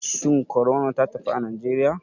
Shin corona ta tafi a nigeriya?